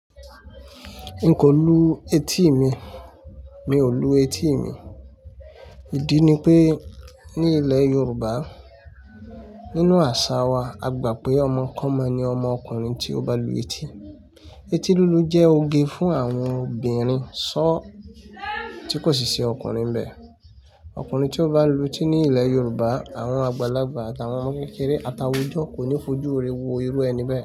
N kò lu etí mi, mi ò lu etí mi. Ìdí ni pé ní ilẹ̀ Yorùbá, nínú àṣà wa, a gbà pé ọmọ kan mọ́ ni ọmọ ọkùnrin tí ó ba lu etí. Eti lulu jẹ́ oge fún àwọn obìnrin sọ́ tí kò sì ṣe ọkùnrin bẹ́. Ọkùnrin tí ó ba lu etí ní ilẹ̀ Yorùbá, àwọn àgbàlagbà àtàwọn ọmọ kékeré ata àwùjo ọ̀ kò ní fojú re wo irú ẹni bẹ́